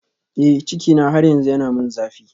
Eh cikina har yanzu yana min zafi